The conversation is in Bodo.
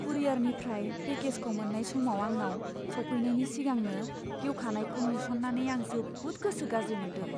कुरियारनिफ्राय पेकेजखौ मोन्नाय समाव आंनाव सौफैनायनि सिगांनो गेवखानायखौ नुस'न्नानै आं जोबोद गोसो गाज्रि मोनदों।